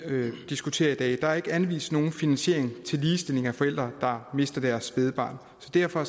diskuterer i dag er der ikke er anvist nogen finansiering til ligestilling af forældre der mister deres spædbarn så derfor